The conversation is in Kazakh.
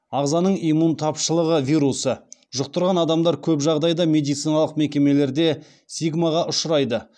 ағзаның иммун тапшылығы вирусы жұқтырған адамдар көп жағдайда медициналық мекемелерде стигмаға ұшырайды